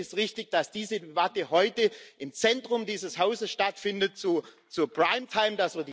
Deswegen ist es richtig, dass diese Debatte heute im Zentrum dieses Hauses stattfindet, zur Primetime